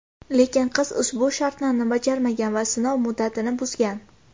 Lekin qiz ushbu shartlarni bajarmagan va sinov muddatini buzgan.